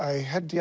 held ég